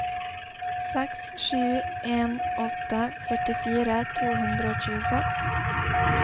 seks sju en åtte førtifire to hundre og tjueseks